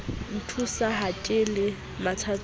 nthusa ha ke le mathateng